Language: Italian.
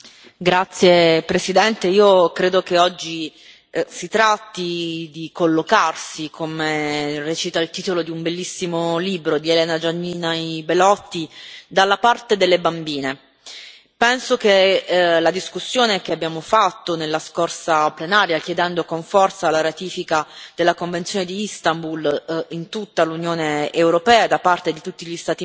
Signor Presidente, onorevoli colleghi, io credo che oggi si tratti di collocarsi, come recita il titolo di un bellissimo libro di Elena Gianini Belotti, dalla parte delle bambine. Penso che la discussione che abbiamo fatto nella scorsa plenaria, chiedendo con forza la ratifica della Convenzione di Istanbul